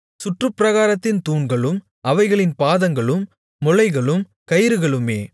சுற்றுப்பிராகாரத்தின் தூண்களும் அவைகளின் பாதங்களும் முளைகளும் கயிறுகளுமே